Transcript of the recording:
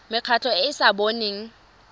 mekgatlho e e sa boneng